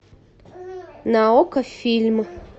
на окко фильм